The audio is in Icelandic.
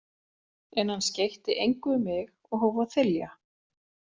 En hann skeytti engu um mig og hóf að þylja.